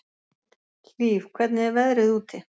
Hlíf, hvernig er veðrið úti?